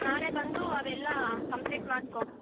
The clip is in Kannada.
ನಾಳೆ ಬಂದು ಅವೆಲ್ಲ complete ಮಾಡ್ಕೊ.